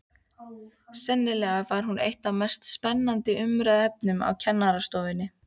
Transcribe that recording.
Sennilega var hún eitt af mest spennandi umræðuefnunum á kennarastofunni.